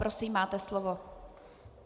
Prosím, máte slovo.